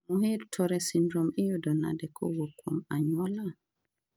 Muir Torre syndrome iyudo nade kowuok kuom anyuola?